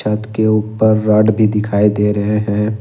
छत के ऊपर रॉड भी दिखाई दे रहे हैं।